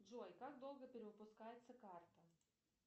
джой как долго перевыпускается карта